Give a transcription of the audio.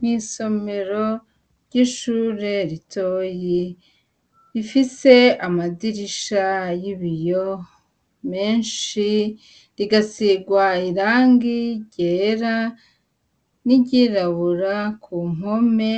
Mw'isomero ry'ishure ritoyi ifise amadirisha y'ibiyo menshi rigasirwa irangi ryera n'iryirabura ku mpome